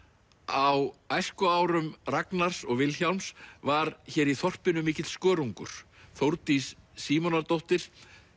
á æskuárum Ragnars og Vilhjálms var hér í þorpinu mikill skörungur Þórdís Símonardóttir